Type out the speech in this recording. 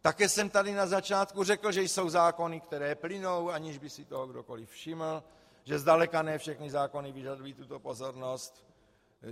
Také jsem tady na začátku řekl, že jsou zákony, které plynou, aniž by si toho kdokoli všiml, že zdaleka ne všechny zákony vyžadují tuto pozornost.